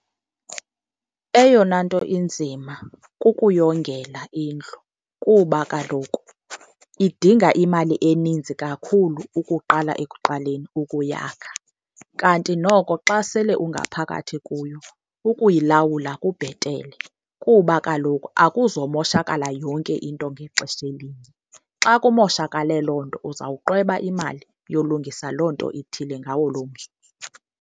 Eyona nto inzima kukuyongela indlu kuba kaloku idinga imali eninzi kakhulu ukuqala ekuqaleni ukuyakha. Kanti noko xa sele ungaphakathi kuyo ukuyilawula kubhetele, kuba kaloku akuzomoshakala yonke into ngexesha elinye. Xa kumoshakale loo nto uzawuqweba imali yolungisa loo nto ithile ngawo loo mzuzu.